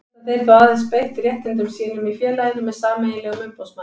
Geta þeir þá aðeins beitt réttindum sínum í félaginu með sameiginlegum umboðsmanni.